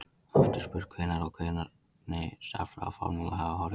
Oft er spurt hvenær og hvernig stærðfræðiformúlur hafi orðið til.